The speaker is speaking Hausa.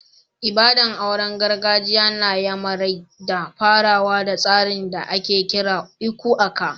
Ibada'n auren gargajiya na n'yamarai na farawa da tsarin da ake kira "lku aka."